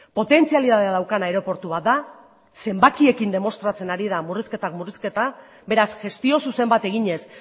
potentzialidadea daukan aireportu bat da zenbakiekin demostratzen ari den murrizketak murrizketa beraz gestio zuzen bat eginez